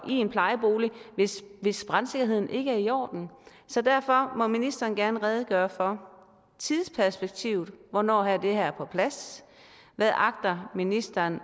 i en plejebolig hvis hvis brandsikkerheden ikke er i orden så derfor må ministeren gerne redegøre for tidsperspektivet hvornår er det her på plads hvad agter ministeren